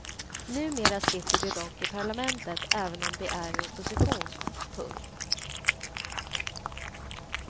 Numera sitter de dock i parlamentet även om de är i opposition. punkt